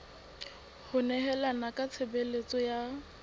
ho nehelana ka tshebeletso ya